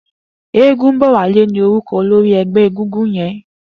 Egunbowale ni órúkọ̀ ólóri ẹgbẹ égúngún yèn